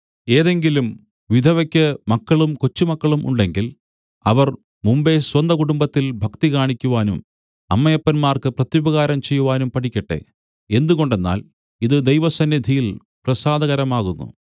ഏതെങ്കിലും വിധവയ്ക്ക് മക്കളും കൊച്ചുമക്കളും ഉണ്ടെങ്കിൽ അവർ മുമ്പെ സ്വന്തകുടുംബത്തിൽ ഭക്തി കാണിക്കുവാനും അമ്മയപ്പന്മാർക്ക് പ്രത്യുപകാരം ചെയ്യുവാനും പഠിക്കട്ടെ എന്തുകൊണ്ടെന്നാൽ ഇത് ദൈവസന്നിധിയിൽ പ്രസാദകരമാകുന്നു